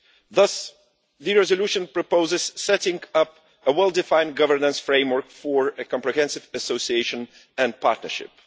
Thus, the resolution proposes setting up a well-defined governance framework for a comprehensive association and partnership.